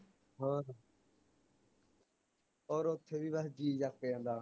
ਹੋਰ ਹੋਰ ਓਥੇ ਵੀ ਵੇਹੇ ਜੀ ਲਗ ਜਾਂਦਾ